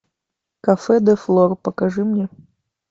кафе де флор покажи мне